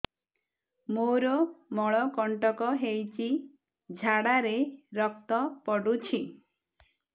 ମୋରୋ ମଳକଣ୍ଟକ ହେଇଚି ଝାଡ଼ାରେ ରକ୍ତ ପଡୁଛି